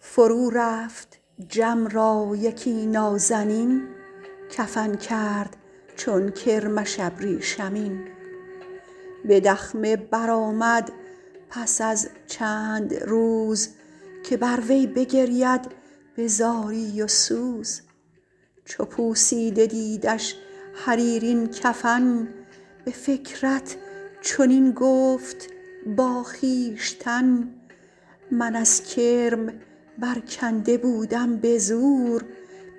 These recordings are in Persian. فرو رفت جم را یکی نازنین کفن کرد چون کرمش ابریشمین به دخمه برآمد پس از چند روز که بر وی بگرید به زاری و سوز چو پوسیده دیدش حریرین کفن به فکرت چنین گفت با خویشتن من از کرم برکنده بودم به زور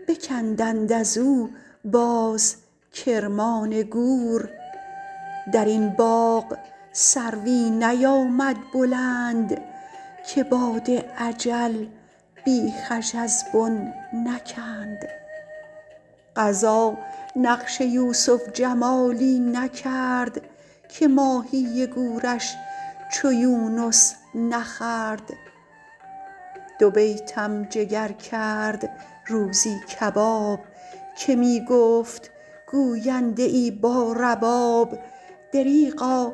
بکندند از او باز کرمان گور در این باغ سروی نیامد بلند که باد اجل بیخش از بن نکند قضا نقش یوسف جمالی نکرد که ماهی گورش چو یونس نخورد دو بیتم جگر کرد روزی کباب که می گفت گوینده ای با رباب دریغا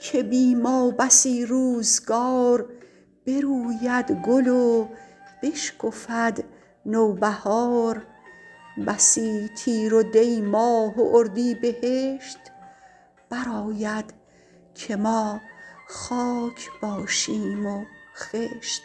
که بی ما بسی روزگار بروید گل و بشکفد نوبهار بسی تیر و دی ماه و اردیبهشت برآید که ما خاک باشیم و خشت